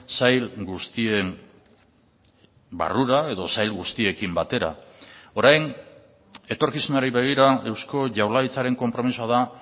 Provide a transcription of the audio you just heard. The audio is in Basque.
sail guztien barrura edo sail guztiekin batera orain etorkizunari begira eusko jaurlaritzaren konpromisoa da